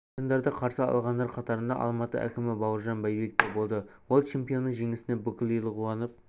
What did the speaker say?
чемпиондарды қарсы алғандар қатарында алматы әкімі бауыржан байбек те болды ол чемпионның жеңісіне бүкіл ел қуанып